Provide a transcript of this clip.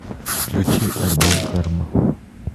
включи альбом карма